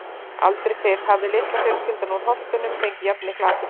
Aldrei fyrr hafði litla fjölskyldan úr Holtunum fengið jafn mikla athygli.